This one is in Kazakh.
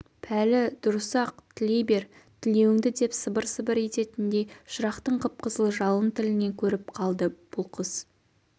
пәлі дұрыс-ақ тілей бер тілеуіңді деп сыбыр-сыбыр ететіндей шырақтың қып-қызыл жалын тілінен көріп қалды бұл қыз